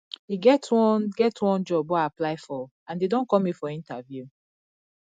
e get one get one job wey i apply for and dey don call me for interview